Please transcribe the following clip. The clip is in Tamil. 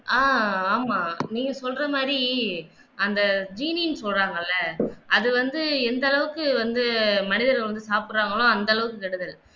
ஆஹ் ஆமா நீங்க சொல்ற மாதிரி அந்த சொல்றாங்கள்ல அது வந்து எந்த அளவுக்கு வந்து மனிதர்கள் வந்து சாப்பிடுகிறார்களோ அந்த அளவுக்கு கெடுதல்